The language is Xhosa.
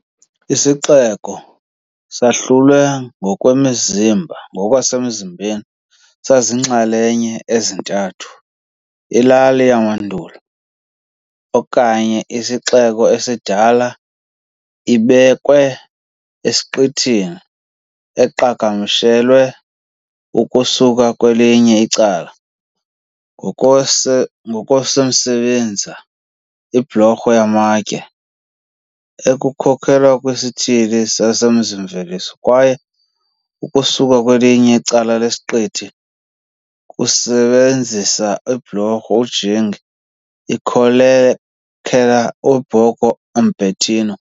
Isixeko sahlulwe ngokwasemzimbeni saziinxalenye ezintathu- ilali yamandulo okanye isixeko esidala ibekwe esiqithini, eqhagamshelwe ukusuka kwelinye icala ngokwase ngokwasemsebenza "ibhulorho yamatye" ekhokelela kwisithili semizi-mveliso kwaye ukusuka kwelinye icala lesiqithi ngokusebenzisa ibhulorho ujingi. ikhokelela "eBorgo Umbertino".